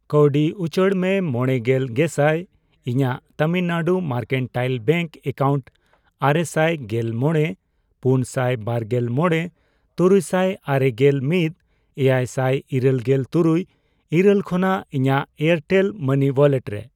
ᱠᱟᱣᱰᱤ ᱩᱪᱟᱹᱲ ᱢᱮ ᱢᱚᱲᱮᱜᱮᱞ ᱜᱮᱥᱟᱭ ᱤᱧᱟᱜ ᱛᱟᱢᱤᱞᱱᱟᱰ ᱢᱟᱨᱠᱮᱱᱴᱟᱭᱤᱞ ᱵᱮᱝᱠ ᱮᱠᱟᱣᱩᱱᱴ ᱟᱨᱮᱥᱟᱭ ᱜᱮᱞ ᱢᱚᱲᱮ ,ᱯᱩᱱᱥᱟᱭ ᱵᱟᱨᱜᱮᱞ ᱢᱚᱲᱮ ,ᱛᱩᱨᱩᱭᱥᱟᱭ ᱟᱨᱮᱜᱮᱞ ᱢᱤᱛ ,ᱮᱭᱟᱭᱥᱟᱭ ᱤᱨᱟᱹᱞ ᱜᱮᱞ ᱛᱩᱨᱩᱭ ,ᱤᱨᱟᱹᱞ ᱠᱷᱚᱱᱟᱜ ᱤᱧᱟᱜ ᱮᱭᱟᱨᱴᱮᱞ ᱢᱟᱹᱱᱤ ᱳᱣᱟᱞᱮᱴ ᱨᱮ